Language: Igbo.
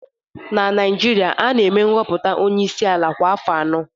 Na Naijiria, a na-eme nhọpụta onye isi ala kwa afọ anọ